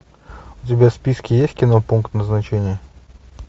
у тебя в списке есть кино пункт назначения